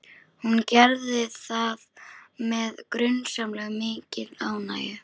Hún gerði það með grunsamlega mikilli ánægju.